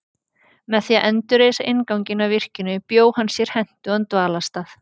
Með því að endurreisa innganginn að virkinu bjó hann sér hentugan dvalarstað.